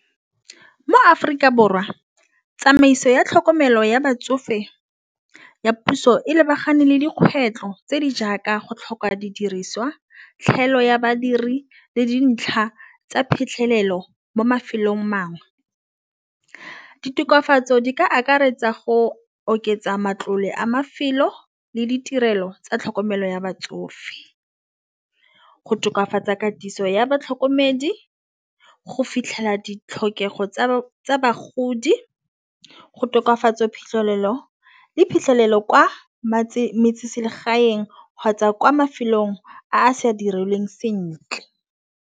Mo-Aforika Borwa tsamaiso ya tlhokomelo ya batsofe ya puso e lebagane le dikgwetlho tse di jaaka go tlhoka didiriswa. Tlhaelo ya badiri le dintlha tsa phitlhelelo mo mafelong a mangwe. Ke ditokafatso di ka akaretsa go oketsa matlole a mafelo le ditirelo tsa tlhokomelo ya batsofe. Go tokafatsa katiso ya batlhokomedi go fitlhela ditlhokego tsa bagodi go tokafatsa phitlhelelo le phitlhelelo kwa metseselegaeng kgotsa kwa mafelong a sa dirilweng sentle.